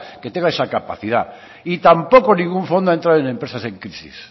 que tenga esa capacidad y tampoco ningún fondo ha entrado en empresas en crisis